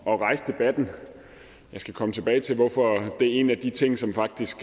at rejse debatten jeg skal komme tilbage til hvorfor det er en af de ting som faktisk